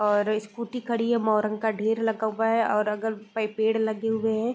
और स्कूटी खड़ी है मोरण का ढ़ेर लगा हुआ हैं और अगल प पेड़ लगे हुए हैं |